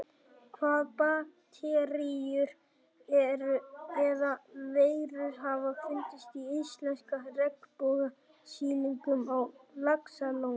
Hvaða bakteríur eða veirur hafa fundist í íslenska regnbogasilungnum á Laxalóni?